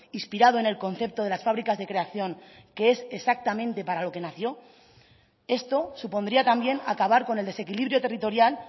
inspirado en el concepto de las fábricas de creación que es exactamente para lo que nació esto supondría también acabar con el desequilibrio territorial